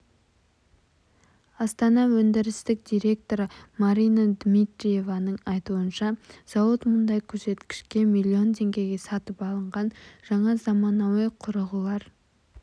астана өндірістік директоры марина дмитриеваның айтуынша зауыт мұндай көрсеткішке миллион теңгеге сатып алынған жаңа заманауи құрылғылар